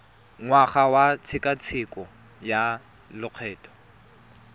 ngwaga wa tshekatsheko ya lokgetho